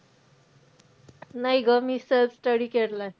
नाही गं, मी सहज study केलाय.